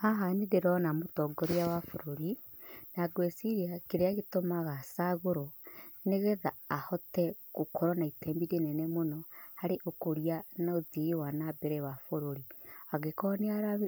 Haha nĩ ndĩrona mũtongoria wa bũrũri, na ngwĩciria kĩrĩa gĩtũmaga acagũrwo nĩgetha ahote gũkorwo na itemi rĩnene mũno harĩ ũkũria na ũthii wa nambere wa bũrũri, angĩkoro